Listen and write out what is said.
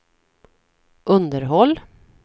underhåll